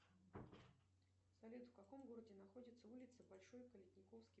салют в каком городе находится улица большой калитниковский